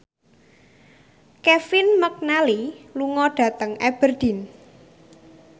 Kevin McNally lunga dhateng Aberdeen